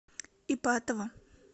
ипатово